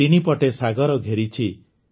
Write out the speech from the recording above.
ତିନି ପଟେ ସାଗର ଘେରିଛି